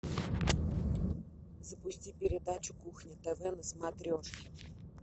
запусти передачу кухня тв на смотрешке